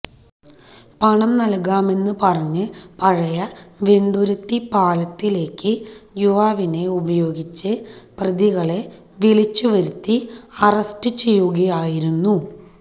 പണം നല്കാമെന്ന് പറഞ്ഞ് പഴയ വെണ്ടുരുത്തി പാലത്തിലേക്ക് യുവാവിനെ ഉപയോഗിച്ച് പ്രതികളെ വിളിച്ച് വരുത്തി അറസ്റ്റ് ചെയ്യുകയായിരുന്നു